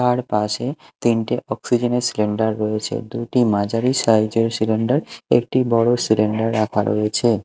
তার পাশে তিনটে অক্সিজেন -এর সিলিন্ডার রয়েছে দুইটি মাঝারি সাইজ -এর সিলিন্ডার একটি বড় সিলিন্ডার রাখা রয়েছে।